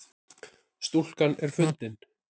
Stúlkan er fundin